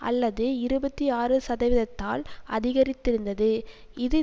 அல்லது இருபத்தி ஆறு சதவீதத்தால் அதிகரித்திருந்தது இது